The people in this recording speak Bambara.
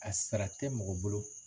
A sara tɛ mɔgɔ bolo